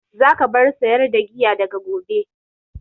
Za ka bar sayar da giya daga gobe!